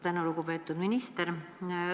Tänan, lugupeetud minister!